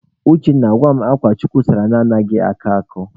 Uchenna, gwa m akwa chukwu sụrụ na anaghị akọ akọ?